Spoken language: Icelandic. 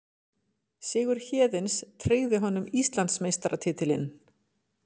Sigur Héðins tryggir honum Íslandsmeistaratitilinn